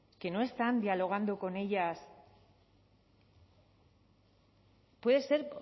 que no están dialogando con ellas puede ser